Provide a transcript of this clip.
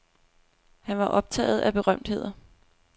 Han var optaget af berømtheder.